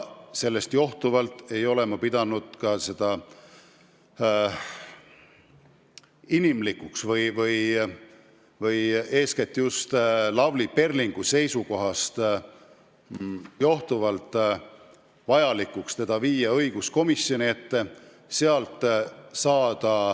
Sellest johtuvalt ei ole ma pidanud inimlikuks või eeskätt just Lavly Perlingu seisukohast õigustatuks viia ta õiguskomisjoni ette.